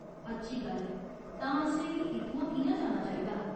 अच्छी गल्ल ऐ। तां असेंगी इत्थुआं कि'यां जाना चाहिदा ?